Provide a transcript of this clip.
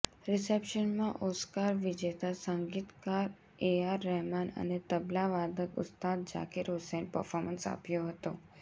રિસેપ્શનમાં Oscar વિજેતા સંગીતકાર A R Rahman અને તબલા વાદક ઉસ્તાદ ઝાકીર હુસૈને પર્ફોમન્સ આપ્યું હતું